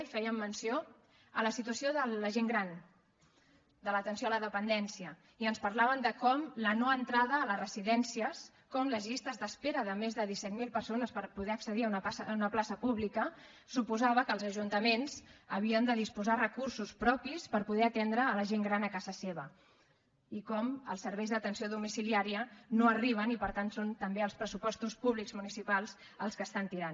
hi feien menció a la situació de la gent gran de l’atenció a la dependència i ens parlaven de com la no entrada a les residències com les llistes d’espera de més de disset mil persones per poder accedir a una plaça pública suposava que els ajuntaments havien de disposar recursos propis per poder atendre la gent gran a casa seva i com els serveis d’atenció domiciliària no arriben i per tant són també els pressupostos públics municipals els que estan tirant